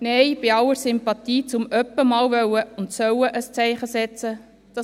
– Nein, bei aller Sympathie dafür, ab und an einmal ein Zeichen setzen zu wollen und zu sollen.